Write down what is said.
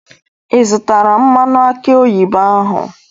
Ị zụtara mmanụ aki oyibo ahụ?